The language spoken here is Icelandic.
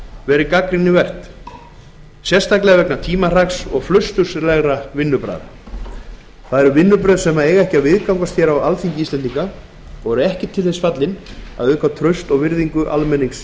verið gagnrýnivert sérstaklega vegna tímahraks og flausturslegra vinnubragða það eru vinnubrögð sem ekki eiga að viðgangast á alþingi íslendinga og eru ekki til þess fallin að auka traust og virðingu almennings